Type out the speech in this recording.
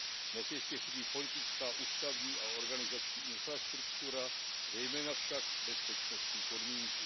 Dnes ještě chybí politická, ústavní a organizační infrastruktura, zejména však bezpečnostní podmínky.